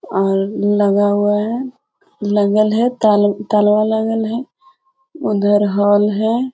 लगा हुआ है लगल है तलवा लागल है उधर हॉल है।